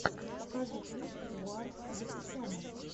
покажи клип гоар аветисяна